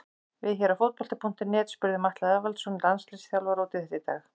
Við hér á Fótbolti.net spurðum Atla Eðvaldsson landsliðsþjálfara út í þetta í dag.